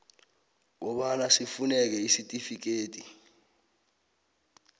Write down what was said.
kobana sifuneke isitifikedi